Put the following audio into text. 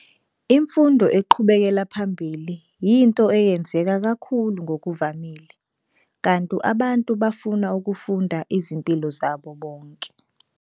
Imfundo eqhubekela phambili yinto eyenzeka kakhulu ngokuvamile, kanti abantu bafuna ukufunda izimpilo zabo bonke.